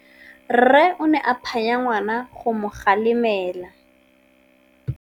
Rre o ne a phanya ngwana go mo galemela.